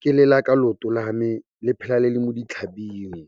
ke lela ka looto lame, le phela le le mo ditlhabing.